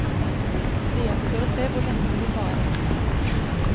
Det gjenstår å se hvor lenge det vil vare.